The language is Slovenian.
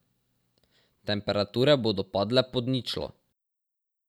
Temperature bodo padle pod ničlo.